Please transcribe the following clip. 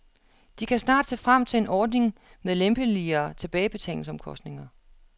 De kan snart se frem til en ordning med lempeligere tilbagebetalingsbetingelser.